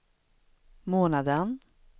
månaden